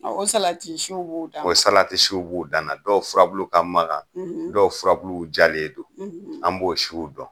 o salatisiw b'u dan o salatisiw b'u dan na. Dɔw furabulu ka magan, dɔw furabulu jalen don, an b'o siw dɔn.